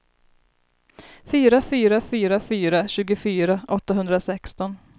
fyra fyra fyra fyra tjugofyra åttahundrasexton